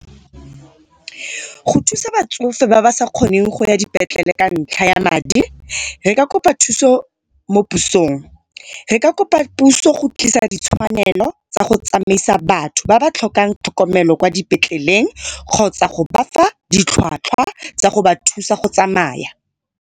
Go thusa batsofe ba ba sa kgoneng go ya dipetlele ka ntlha ya madi, re ka kopa thuso mo pusong. Re ka kopa puso go tlisa ditshwanelo tsa go tsamaisa batho ba ba tlhokang tlhokomelo kwa dipetleleng kgotsa go ba fa ditlhwatlhwa tsa go ba thusa go tsamaya.